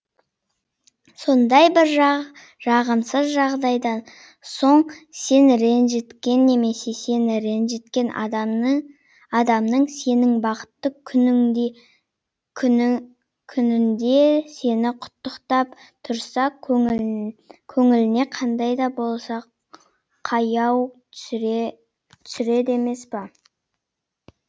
сондай бір жағымсыз жағдайдан соң сен ренжіткен немесе сені ренжіткен адамның сенің бақытты күнінде сені құттықтап тұрса көңіліне қандай да болса қаяу түсіреді емес па